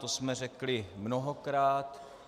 To jsme řekli mnohokrát.